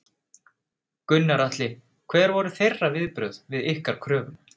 Gunnar Atli: Hver voru þeirra viðbrögð við ykkar kröfum?